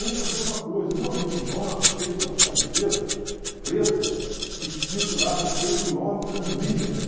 Vamos fazer uma coisa, um amigo nosso fez umas cabisetas pretas, escrito lá no peito, Love Unlimited.